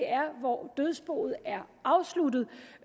hvor dødsboet er afsluttet